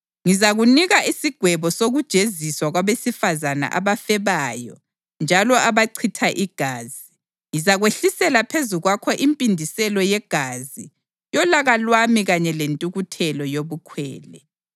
Ngizakunika isigwebo sokujeziswa kwabesifazane abafebayo njalo abachitha igazi; ngizakwehlisela phezu kwakho impindiselo yegazi yolaka lwami kanye lentukuthelo yobukhwele.